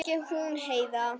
Ekki hún Heiða.